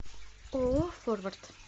ооо форвард